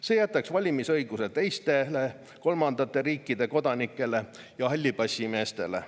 See jätaks valimisõiguse teistele kolmandate riikide kodanikele ja hallipassimeestele.